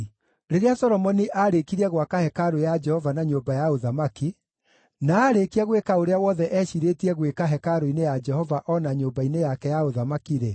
Rĩrĩa Solomoni aarĩkirie gwaka hekarũ ya Jehova na nyũmba ya ũthamaki, na aarĩkia gwĩka ũrĩa wothe eeciirĩtie gwĩka hekarũ-inĩ ya Jehova o na nyũmba-inĩ yake ya ũthamaki-rĩ,